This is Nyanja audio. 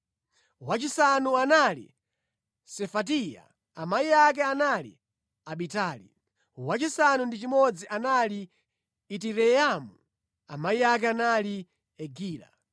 wachisanu anali Sefatiya, amayi ake anali Abitali; wachisanu ndi chimodzi anali Itireamu, amayi ake anali Egila.